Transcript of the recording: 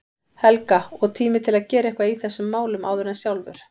Helga, og tími til að gera eitthvað í þessum málum áður en sjálfur